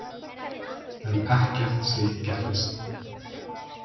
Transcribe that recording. En ekkert slíkt gerðist.